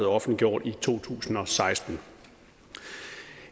offentliggjort i to tusind og seksten